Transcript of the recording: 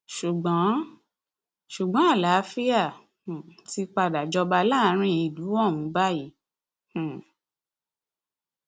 ṣùgbọn ṣùgbọn àlàáfíà um ti padà jọba láàrin ìlú ohun báyìí um